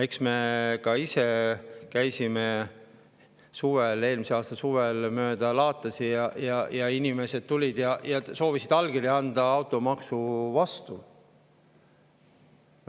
Eks me ka ise käisime eelmise aasta suvel mööda laatasid ning inimesed tulid ja soovisid anda allkirja automaksu vastu.